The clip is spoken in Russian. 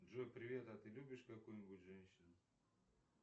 джой привет а ты любишь какую нибудь женщину